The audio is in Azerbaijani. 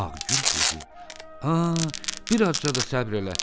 Ağgül dedi: "A, bir azca da səbr elə.